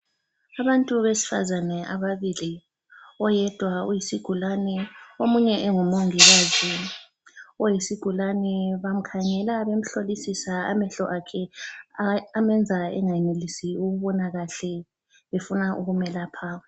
Abantu abesifazana ababili. Oyedwa uyisigulane omunye engumongikazi. Oyisigulane, bamkhangela bemhlolisisa amehlo akhe amenza engayenelisi ukubona kahle, befuna ukumelapha.